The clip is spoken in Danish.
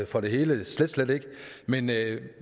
for det hele slet slet ikke men